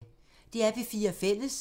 DR P4 Fælles